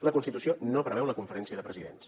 la constitució no preveu la conferència de presidents